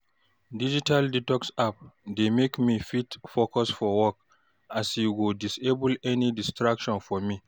digital detox app dey mek me fit focus for work as e go disable any distractions for me